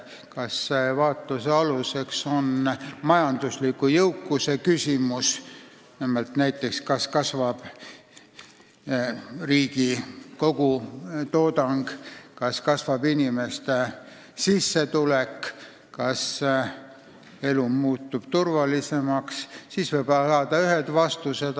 Kui vaatluse aluseks on majanduslik jõukus, näiteks kas riigi kogutoodang kasvab ja kas inimeste sissetulek kasvab, samuti kas elu muutub turvalisemaks, siis võib saada ühed vastused.